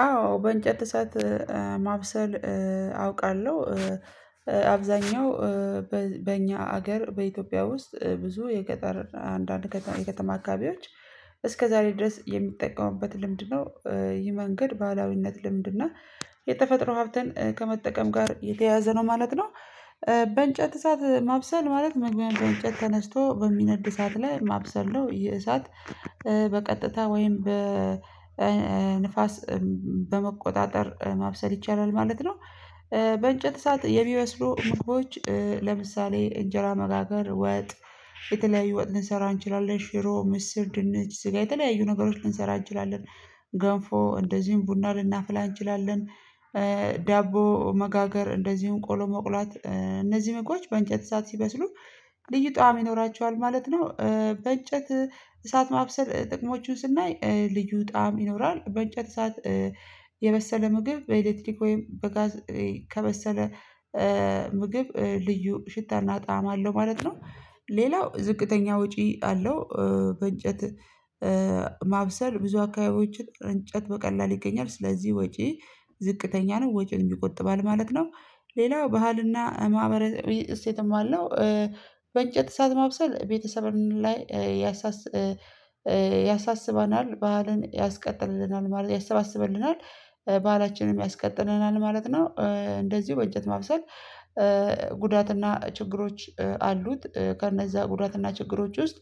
አዎ በእንጨት እሳት ማብሰል አውቃለሁ። አብዛኛው በእኛ አገር በኢትዮጵያ ውስጥ ብዙ የገጠርና አንዳንድ የከተማ አካባቢዎች እስከዛሬ ድረስ የሚጠቀሙበት ልምድ ነው። ይህ መንገድ ባህላዊነት ልምድ እና የተፈጥሮ ሀብትን ከመጠቀም ጋር የተያያዘ ነው ማለት ነው። በእንጨት እሳት ማብሰል ማለት በእንጨት ተነስቶ በሚነድ እሳት ላይ ማብሰልለው ነው። የእሳት በቀጥታ ወይም በንፋስ በመቆጣጠር ማብሰል ይቻላል ማለት ነው። በእንጨት እሳት የሚበስሉ ምግቦች ለምሳሌ እንጀራ መጋገር ወጥ የተለያዩ ወጥ ልንሰራ እንችላለን ሽሮ ምስር ድንች ስጋ የተለያዩ ነገሮች ልንሰራ እንችላለን። ገንፎ እንደዚሁም ቡና ልናፍላ እንችላለን። ዳቦ መጋገር እንደዚሁም ቆሎ መቁላት እነዚህ ምግቦች በእንጨት እሳት ሲበስሉ ልዩ ጣዕም ይኖራቸዋል ማለት ነው። በእንጨት እሳት ማብሰል ጥቅሞቹን ስናይ ልዩ ጣዕም ይኖራል። በእንጨት እሳት የበሰለ ምግብ በኤሌክትሪክ ወይም በጋዝ ከበሰለ ምግብ ልዩ ሽታና ጣዕም አለው ማለት ነው። ሌላው ዝቅተኛ ወጪ አለው። በእንጨት ማብሰል ብዙ አካባቢዎችን እንጨት በቀላል ይገኛል ስለዚህ ወጪ ዝቅተኛ ነው ወጪን ይቆጥባል ማለት ነው። ሌላው ባህልና ማህበራዊ እሴትም አለው። በእንጨት እሳት ማብሰል ቤተሰብን ላይ ያሳስበናል ባህልን ያስቀጥልልናል ማለት ያሰባስበናል ባህላችንም ያስቀጥልልናል ማለት ነው። እንደዚሁ በእንጨት ማብሰል ጉዳትና ችግሮች አሉት። ከነዛ ጉዳትና ችግሮች ውስጥ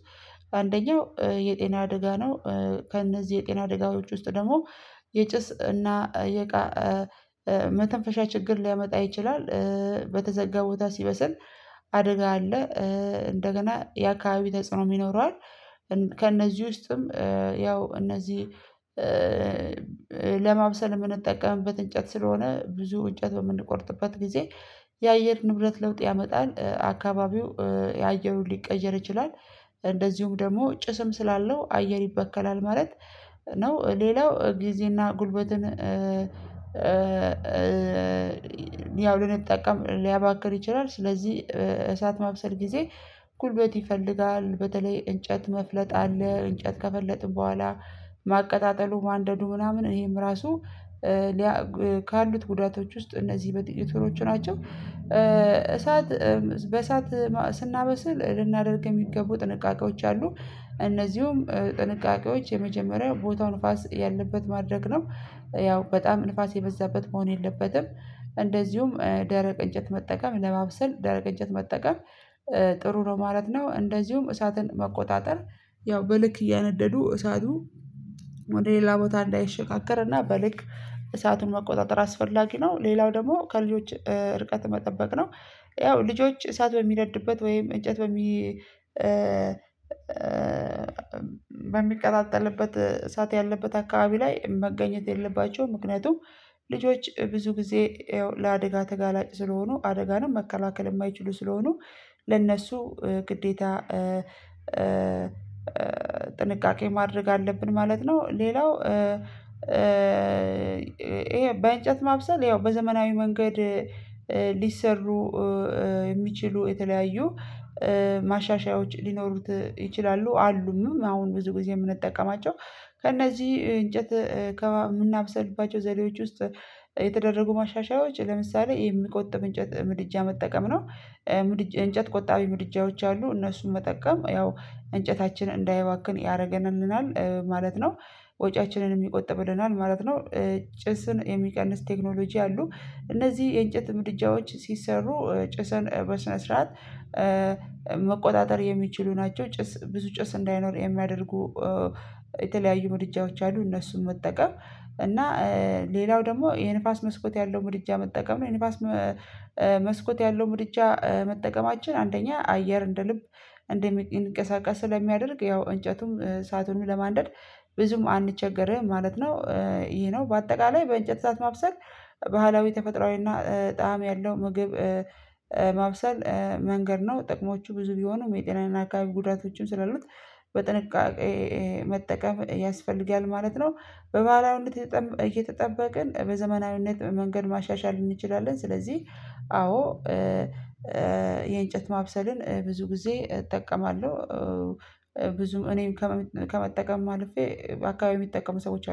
አንደኛው የጤና አደጋ ነው። ከእነዚህ የጤና አደጋዎች ውስጥ ደግሞ የጭስ እና የቃ መተንፈሻ ችግር ሊያመጣ ይችላል። በተዘጋ ቦታ ሲበስል አደጋ አለ። እንደገና የአካባቢ ተጽዕኖ ይኖረዋል። ከእነዚህ ውስጥም ያው እነዚህ ለማብሰል የምንጠቀምበት እንጨት ስለሆነ ብዙ እንጨት በምንቆርጥበት ጊዜ የአየር ንብረት ለውጥ ያመጣል አካባቢው አየሩ ሊቀየር ይችላል። እንደዚሁም ደግሞ ጭስም ስላለው አየር ይበከላል ማለት ነው። ሌላው ጊዜና ጉልበትን ያው ልንጠቀም ሊያባክን ይችላል። ስለዚህ እሳት ማብሰል ጊዜ ጉልበት ይፈልጋል በተለይ እንጨት መፍለጥ አለ እንጨት ከፈለጥን በኋላ ማቀጣጠሉ ማንደዱ ምናምን ይሄም ራሱ ካሉት ጉዳቶች ውስጥ እነዚህ በጥቂቶቹ ናቸው። እሳት በእሳት ስናበስል ልናደርግ የሚገቡ ጥንቃቄዎች አሉ። እነዚህም ጥንቃቄዎች የመጀመሪያ ቦታው ንፋስ ያለበት ማድረግ ነው ያው በጣም ንፋስ የበዛበት መሆን የለበትም። እንደዚሁም ደረቅ እንጨት መጠቀም ለባብሰል ደረቅ እንጨት መጠቀም ጥሩ ነው ማለት ነው። እንደዚሁም እሳትን መቆጣጠር ያው በልክ እያነደዱ እሳቱ ወደ ሌላ ቦታ እንዳይሸጋገር እና በልክ እሳቱን መቆጣጠር አስፈላጊ ነው። ሌላው ደግሞ ከልጆች ርቀት መጠበቅ ነው። ያው ልጆች እሳት በሚነድበት ወይም እጨት በሚ በሚቀጣጠልበት እሳት ያለበት አካባቢ ላይ መገኘት የለባቸውም። ምክንያቱም ልጆች ብዙ ጊዜ ያው ለአደጋ ተጋላጭ ስለሆኑ አደጋንም መከላከል የማይችሉ ስለሆኑ ለእነሱ ግዴታ ጥንቃቄ ማድረግ አለብን ማለት ነው። ሌላው ይሄ በእንጨት ማብሰል ያው በዘመናዊ መንገድ ሊሰሩ የሚችሉ የተለያዩ ማሻሻያዎች ሊኖሩት ይችላሉ። አሉምም አሁን ብዙ ጊዜ የምንጠቀማቸው ከእነዚህ እንጨት ከምናበስልባቸው ዘዴዎች ውስጥ የተደረጉ ማሻሻያዎች ለምሳሌ የሚቆጥብ እንጨት ምድጃ መጠቀም ነው። እንጨት ቆጣቢ ምድጃዎች አሉ እነሱን መጠቀም ያው እንጨታችን እንዳይባክን ያደርገናልናል ማለት ነው። ወጪያችንንም ይቆጥብልናል ማለት ነው። ጭስን የሚቀንስ ቴክኖሎጂ አሉ እነዚህ የእንጨት ምድጃዎች ሲሰሩ ጭስን በስነ ስርዓት መቆጣጠር የሚችሉ ናቸው። ጭስ ብዙ ጭስ እንዳይኖር የሚያደርጉ የተለያዩ ምድጃዎች አሉ። እነሱን መጠቀም እና ሌላው ደግሞ የንፋስ መስኮት ያለው ምድጃ መጠቀም የንፋስ መስኮት ያለው ምድጃ መጠቀማችን አንደኛ አየር እንደ ልብ እንዲንቀሳቀስ ስለሚያደርግ ያው እንጨቱም እሳቱንም ለማንደድ ብዙም አንቸገርም ማለት ነው። ይህ ነው በአጠቃላይ በእንጨት ሰዓት ማብሰል ባህላዊ ተፈጥሮአዊና ጣዕም ያለው ምግብ ማብሰል መንገድ ነው። ጥቅሞቹ ብዙ ቢሆኑም የጤናዊን አካባቢ ጉዳቶችን ስላሉት በጥንቃቄ መጠቀም ያስፈልጋል ማለት ነው። በባህላዊነት እየተጠበቅን በዘመናዊነት መንገድ ማሻሻል እንችላለን። ስለዚህ አዎ የእንጨት ማብሰልን ብዙ ጊዜ እጠቀማለሁ። ብዙም እኔም ከመጠቀምም አልፌ በአካባቢው የሚጠቀሙ ሰዎች